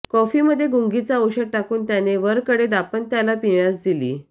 कॉफीमध्ये गुंगीचे औषध टाकून त्याने वरकडे दाम्पंत्याला पिण्यास दिली